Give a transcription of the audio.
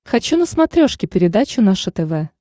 хочу на смотрешке передачу наше тв